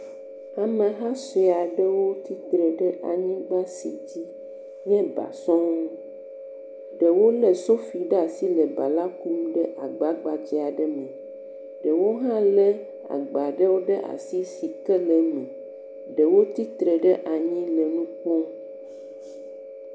Ameha siawo tsi tre ɖe anyigba si dze nye ba sɔŋ, ɖewo lé sofi ɖe asi le ba la kum ɖe agba gbadza aɖe me, ɖewo hã lé agba ɖewo ɖe asi si ke le eme, ɖewo tsitre ɖe anyi le wo kpɔm.